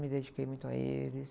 Me dediquei muito a eles.